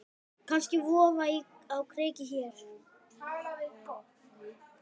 Kannski vofa á kreiki hér.